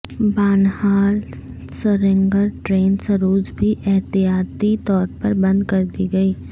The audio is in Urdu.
بانہال سرینگر ٹرین سروس بھی احتیاطی طور پر بند کردی گئی